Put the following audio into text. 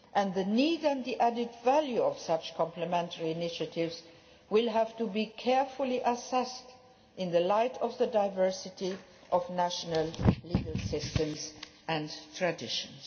The need and the added value of such complementary initiatives will have to be carefully assessed in the light of the diversity of national legal systems and traditions.